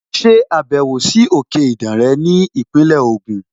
Ṣe ìbẹ̀wò sí àwọn òkè Ìdànre ní Ìpínlẹ̀ Ògùn!